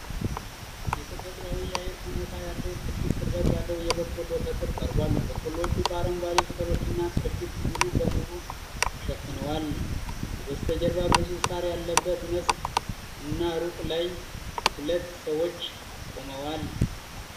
የተፈጥሮአዊ የአየር ሁኔታ ያለው ትልቅ ቅርበት ያለው የበቆሎ ተክል ቀርቧል። በቆሎዎቹ በአረንጓዴ ቅጠሎችና ቅርፊት ሙሉ በሙሉ ተሸፍነዋል። ከበስተጀርባ ብዙ ሣር ያለበት መስክ እና ሩቅ ላይ ሁለት ሰዎች ቆመዋል።